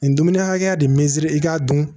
Nin dumuni hakɛya de me i k'a dun